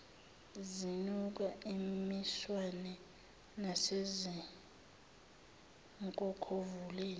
zinuka imiswane nasezinkokhovuleni